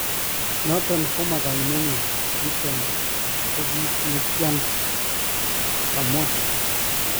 " Noton koma kaimeenyun , niton ko kiit nekia ntii ", kamwaa